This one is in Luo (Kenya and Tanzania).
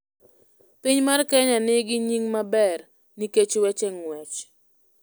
Piny mar kenya ni gi nying maber nikech weche nguech